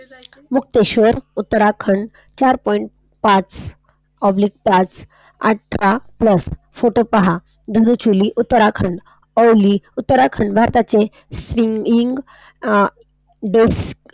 मुक्तेश्वर उत्तराखंड चार Point पाच, आठरा plus photo पहा, डिजिटली उत्तराखंड भारताचे देश,